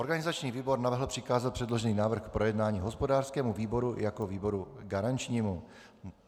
Organizační výbor navrhl přikázat předložený návrh k projednání hospodářskému výboru jako výboru garančnímu.